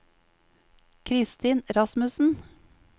Kristin Rasmussen